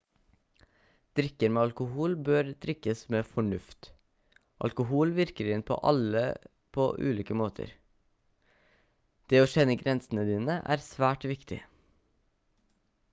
drikker med alkohol bør drikkes med fornuft alkohol virker inn på alle på ulike måter det å kjenne grensene dine er svært viktig